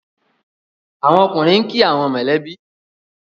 àwọn ọkùnrin nki awon mọ lẹ bi.